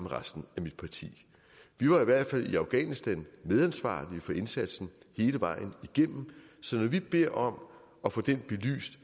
resten af mit parti vi var i hvert fald i afghanistan medansvarlige for indsatsen hele vejen igennem så når vi beder om at få den belyst